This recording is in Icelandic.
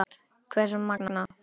Hversu magnað!